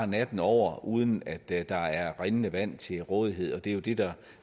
natten over uden at der er rindende vand til rådighed og det er jo det der